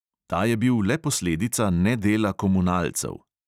Ta je bil le posledica nedela komunalcev.